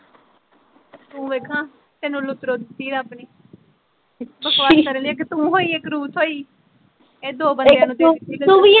ਤੂੰ ਵੇਖ ਹਾਂ, ਤੇਨੂੰ ਲੁਤਰੋਂ ਦਿੱਤੀ ਰੱਬ ਨੇ ਬਕਵਾਸ ਕਰਣ ਲਈ ਇੱਕ ਤੂੰ ਹੋਈ ਇੱਕ ਰੂਪ ਹੋਈ ਏਹ ਦੋ ਬੰਦਿਆ ਨੂੰ ਦੇ ਦਿੱਤੀ